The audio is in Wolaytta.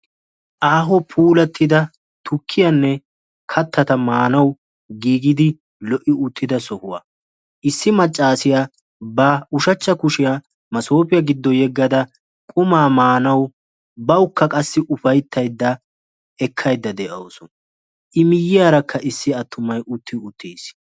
Aaho puulattida tukkiyanne kattata maanawu giigidi lo"i uttida sohuwa. Issi maccassiya ba ushshachcha kushiya maassoppe gido yegada quma maanawu bawukka qassi upayttayda de'awus. I miyyiyaarakka issi attumay utti uttiis.